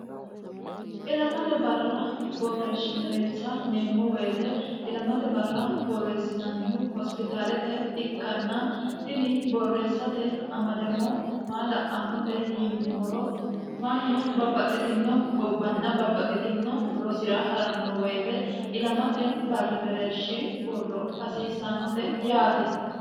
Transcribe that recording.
ilamate barra borreeshshi mereersa yineemmo woyiite ilamate barra borreessinannihu hospitaalete ikkanna tini borreessote amadama maa la'annote yinummoro mannu babbaxxitino gobbanna babbaxxitino rosira ha'ranno woyite ilamate barri mereershi borro hasiissannote yaate